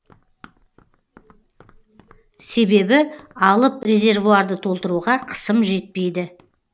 себебі алып резервуарды толтыруға қысым жетпейді